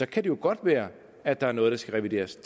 kan det jo godt være at der er noget der skal revideres